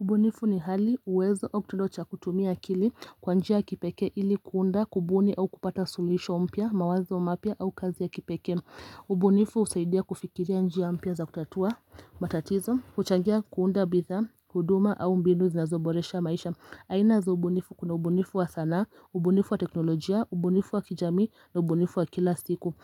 Ubunifu ni hali uwezo au kutendo cha kutumia akili kwa njia ya kipeke ili kuunda kubuni au kupata suluhisho mpya mawazo mapya au kazi ya kipeke ubunifu usaidia kufikiria njia mpya za kutatua matatizo huchangia kuunda bidhaa huduma au mbinu zinazo boresha maisha aina za ubunifu kuna ubunifu wa sana, ubunifu wa teknolojia, ubunifu wa kijamii na ubunifu wa kila siku